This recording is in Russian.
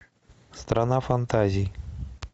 страна фантазий